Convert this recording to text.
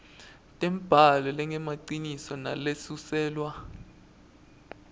tembhalo lengemaciniso nalesuselwa